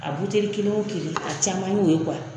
A buteli kelen o kelen a caman y'o ye